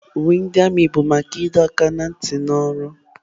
Uwe ndị armiị bụ maka ịdọ aka ná ntị na ọrụ.